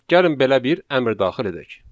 Gəlin belə bir əmr daxil edək.